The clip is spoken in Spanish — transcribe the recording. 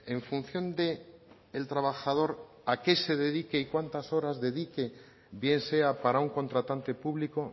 en función del trabajador a qué se dedique y cuántas horas dedique bien sea para un contratante público